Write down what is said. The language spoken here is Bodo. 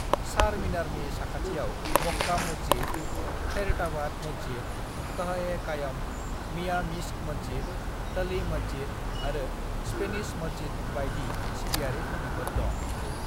"चारमिनारनि साखाथियाव मक्का मस्जिद, खैरताबाद मस्जिद, कह-ए-कायम, मियां मिश्क मस्जिद, टली मस्जिद आरो स्पेनिश मस्जिद बायदि सिबियारि थावनिफोर दं।"